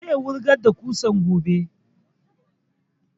Zai wurgar da ƙusan gobe